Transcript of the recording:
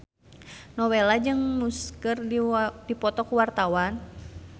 Nowela jeung Muse keur dipoto ku wartawan